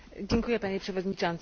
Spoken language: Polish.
Panie Przewodniczący!